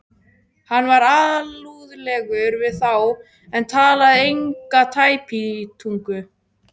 Hann var alúðlegur við þá en talaði enga tæpitungu.